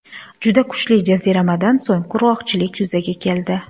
Juda kuchli jaziramadan so‘ng qurg‘oqchilik yuzaga keldi.